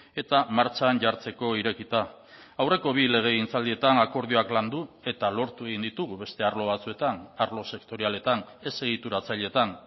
eta martxan jartzeko irekita aurreko bi legegintzaldietan akordioak landu eta lortu egin ditugu beste arlo batzuetan arlo sektorialetan ez egituratzailetan